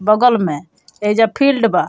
बगल में एइजा फील्ड बा।